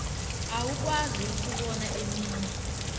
awukwazi ukubona eminye